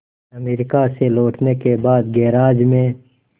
America से लौटने के बाद गैराज में